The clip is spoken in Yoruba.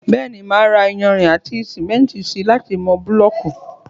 Bẹ́ẹ̀ni, mo máà ra iyanrìn àti sìmẹ́ntì si láti mọ búlọ̀kù